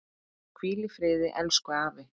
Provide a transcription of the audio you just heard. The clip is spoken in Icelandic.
Hvíl í friði elsku afi.